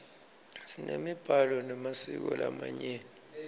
simemiblalo memasiko lamanyeni